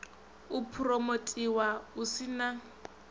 u phuromothiwa hu si na